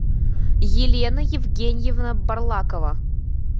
елена евгеньевна барлакова